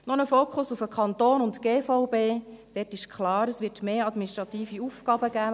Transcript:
Noch ein Fokus auf den Kanton und die GVB: Dort ist klar, dass es mehr administrative Aufgaben geben wird.